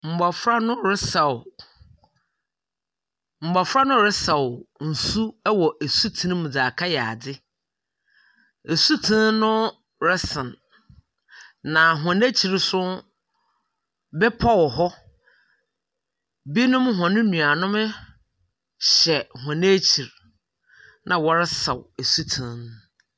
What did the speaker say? M mmɔfra no resaw, mɔfra no resaw nsu ɛwɔ esutene mu dzeakɔ yɛ adze. Nsutene no resen na hɔn akyiri no bepɔ wɔ hɔ. Binom hɔn nnua nom hyɛ hɔn akyiri na ɔresaw esutene no.